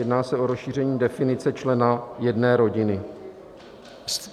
Jedná se o rozšíření definice člena jedné rodiny.